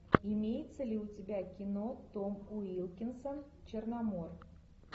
имеется ли у тебя кино том уилкинсон черномор